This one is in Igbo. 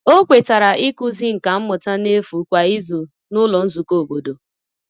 O kwetara ịkụzi nka mmụta n’efu kwa izu n’ụlọ nzukọ obodo.